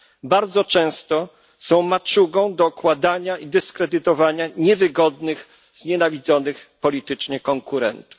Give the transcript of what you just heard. Bardzo często są maczugą do okładania i dyskredytowania niewygodnych, znienawidzonych politycznie konkurentów.